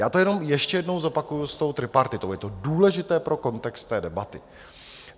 Já to jenom ještě jednou zopakuji s tou tripartitou, je to důležité pro kontext té debaty.